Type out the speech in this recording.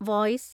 (voice)